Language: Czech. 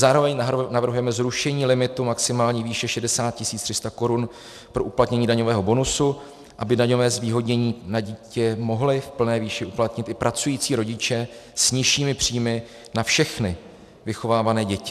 Zároveň navrhujeme zrušení limitu maximální výše 60 300 korun pro uplatnění daňového bonusu, aby daňové zvýhodnění na dítě mohli v plné výši uplatnit i pracující rodiče s nižšími příjmy na všechny vychovávané děti.